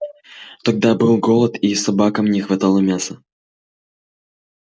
тогда был голод и собакам не хватало мяса